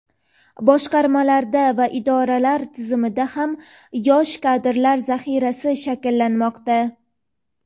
boshqarmalarda va idoralar tizimida ham yosh kadrlar zaxirasi shakllanmoqda.